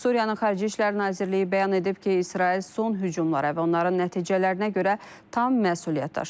Suriya Xarici İşlər Nazirliyi bəyan edib ki, İsrail son hücumlara və onların nəticələrinə görə tam məsuliyyət daşıyır.